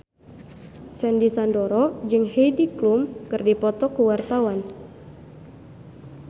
Sandy Sandoro jeung Heidi Klum keur dipoto ku wartawan